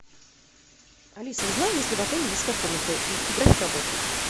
алиса узнай есть ли в отеле детская комната и график работы